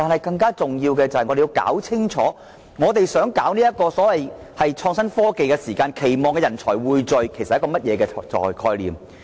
更重要的是，我們要弄清楚發展所謂創新科技的時候，人才匯聚其實是一個甚麼概念？